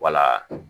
Wala